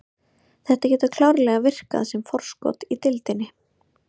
Þetta getur klárlega virkað sem forskot í deildinni.